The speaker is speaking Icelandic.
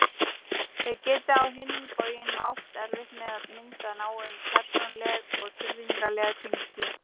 Þeir geti á hinn bóginn átt erfitt með að mynda náin persónuleg og tilfinningaleg tengsl.